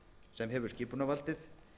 sem hefur skipunarvaldið